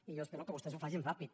i jo espero que vostès ho facin ràpid